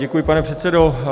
Děkuji, pane předsedo.